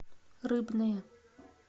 рыбное